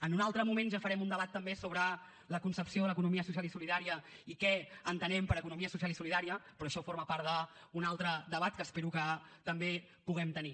en un altre moment ja farem un debat també sobre la concepció de l’economia social i solidària i què entenem per economia social i solidària però això forma part d’un altre debat que espero que també puguem tenir